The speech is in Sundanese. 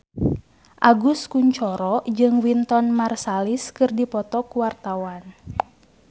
Agus Kuncoro jeung Wynton Marsalis keur dipoto ku wartawan